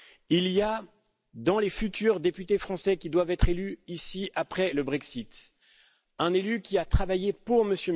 Il y a, parmi les futurs députés français qui doivent être élus ici après le Brexit, un homme qui a travaillé pour M.